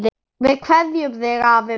Við kveðjum þig, afi minn.